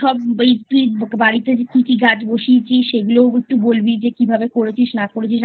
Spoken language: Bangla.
তুই বাড়িতে কি কি গাছ বসিয়েছিস সেগুলোও একটু বলবি কিভাবে করেছিস না করেছিস